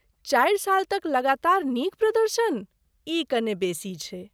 चारि साल तक लगातार नीक प्रदर्शन, ई कने बेसी छै।